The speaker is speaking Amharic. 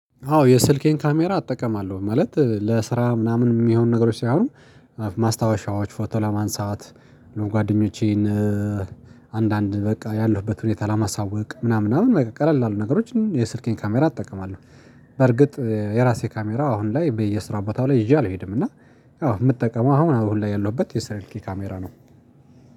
አዎ የስልኬን ካሜራ አጠቀማለሁ ማለት ለስራ ምናምን የሚሆኑ ነገሮች ሳይሆኑ ማስታወሻዎች ፎቶ ለማንሳት ጓደኞቼን አንዳንድ በቃ ያለሁበት ሁኔታ ለማሳወቅ ምናምን በቃ ቀቀል ላሉ ገሮችን የስልኬን ካሜራ እጠቀማለሁ። በርግጥ የራሴ ካሜራ አሁን ላይ በየስራ ቦታው ላይ ይዤ አልሄድም እና። አዎ የምጠቀመው አሁን ሁሉ ላይ ያለሁበት የስልኬ ካሜራ ነው